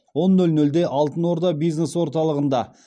он нөл нөлде алтын орда бизнес орталығында